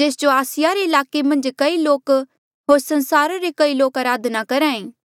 जेस जो आसिया रे ईलाके मन्झ कई लोक होर संसारा रे कई लोक अराधना करहा ऐें